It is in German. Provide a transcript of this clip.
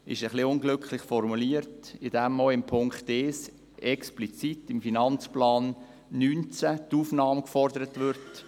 Er ist etwas unglücklich formuliert, indem auch in Punkt 1 explizit die Aufnahme in den Finanzplan 2019 gefordert wird.